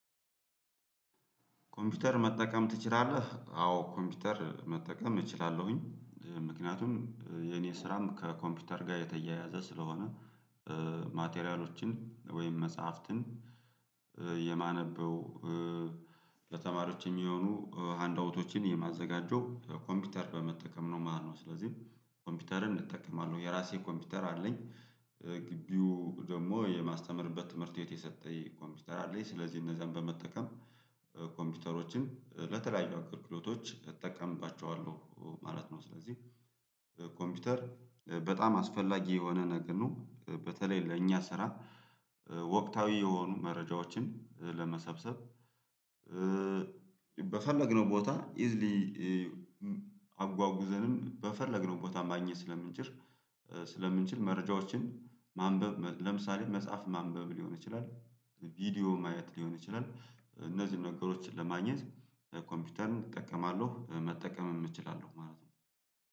ኮምፒውተር መጠቀም ትችላለህ አዎ ኮምፒውተር መጠቀም እችላለሁኝ ምክንያቱም የኔ ስራም ከኮምፒውተር ጋር የተያያዘ ስለሆነ ማቴሪያሎችን ወይም መጽሐፍትን የማነበው ለተማሪዎች የሚሆኑ ሃንዳውቶችን የማዘጋጀው ኮምፒውተር በመጠቀም ነው። ማነው ስለዚህ ኮምፒውተርን እጠቀማለሁ የራሴ ኮምፒውተር አለኝ። ግቢው ደግሞ የማስተምርበት ትምህርት የሰጠኝ ኮምፒውተር አለኝ ስለዚህ እነዛን በመጠቀም ኮምፒውተሮችን ለተለያዩ አገልግሎቶች እጠቀምባቸዋለሁ ማለት ነው። ስለዚህ ኮምፒውተር በጣም አስፈላጊ የሆነ ነገር ነው። በተለይ ለእኛ ስራ ወቅታዊ የሆኑ መረጃዎችን ለመሰብሰብ። በፈለግነው ቦታ ኢዝሊ አጉዘንም በፈለግነው ቦታ ማግኘት ስለምንችል ስለምንችል መረጃዎችን ማንበብ ለምሳሌ መጽሐፍ ማንበብ ሊሆን ይችላል። ቪዲዮ ማየት ሊሆን ይችላል። እነዚህን ነገሮችን ለማግኘት ኮምፒውተርን እጠቀማለሁ መጠቀም እችላለሁ ማለት ነው።